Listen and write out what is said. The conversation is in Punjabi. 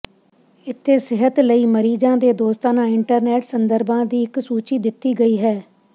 ਇੱਥੇ ਸਿਹਤ ਲਈ ਮਰੀਜ਼ਾਂ ਦੇ ਦੋਸਤਾਨਾ ਇੰਟਰਨੈਟ ਸੰਦਰਭਾਂ ਦੀ ਇੱਕ ਸੂਚੀ ਦਿੱਤੀ ਗਈ ਹੈ